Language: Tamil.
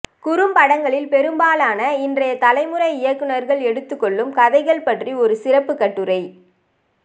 குறும்படங்களில் பெரும்பாலான இன்றைய தலைமுறை இயக்குனர்கள் எடுத்துக் கொள்ளும் கதைகள் பற்றிய ஒரு சிறப்புக் கட்டுரை